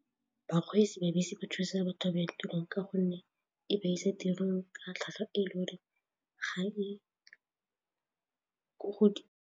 Bakgweetsi ba dibese ba thusa batho ba ba ya tirong ka gonne e ba isa tirong ka tlhwatlhwa e le gore ga e ko godimo.